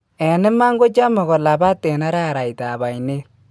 En imaan kochame kolabaat en araraytab ayneet